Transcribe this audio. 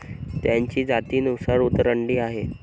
त्यांची जातीनुसार उतरंडी आहे.